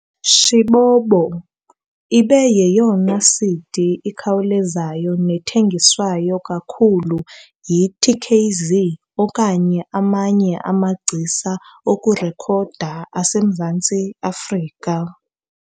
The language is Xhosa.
"Shibobo" ibe yeyona CD ikhawulezayo nethengiswa kakhulu yi-TKZee okanye amanye amagcisa okurekhoda aseMzantsi Afrika.